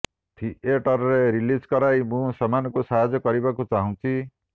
ଥିଏଟରରେ ରିଲିଜ୍ କରାଇ ମୁଁ ସେମାନଙ୍କୁ ସାହାଯ୍ୟ କରିବାକୁ ଚାହୁଁଛି